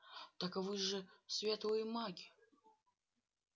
так вы же светлые маги